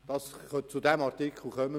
Wir werden noch zu diesem Artikel kommen.